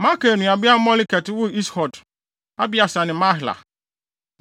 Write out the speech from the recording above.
Makir nuabea Moleket woo Is-Hod, Abieser ne Mahla.